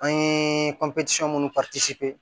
An ye minnu